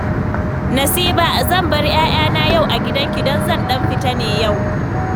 Nasiba, zan bar 'ya'yana yau a gidanki, don zan ɗan fita ne yau